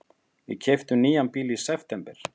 Við keyptum nýjan bíl í september.